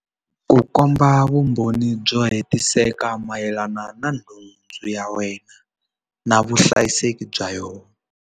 Ku komba vumbhoni byo hetiseka mayelana na nhundzu ya wena na vuhlayiseki bya yona.